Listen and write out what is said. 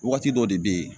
Waati dɔ de bɛ yen